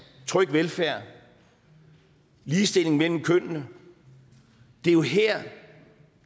tryg velfærd ligestilling mellem kønnene det er jo her